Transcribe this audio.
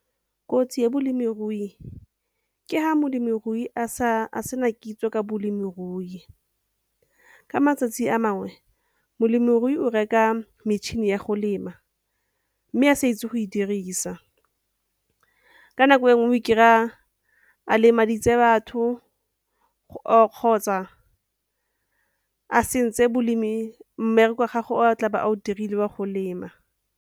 Kotsi ya bolemirui ke ha molemirui a sena kitso ka bolemirui. Ka matsatsi a mangwe, molemirui o reka metšhini ya go lema mme a sa itse go e dirisa. Ka nako e nngwe o ikry-a a lemaditse batho or kgotsa a sentse mmereko wa gagwe o a tlabe a o dirile wa go lema.